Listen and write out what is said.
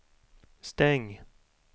stäng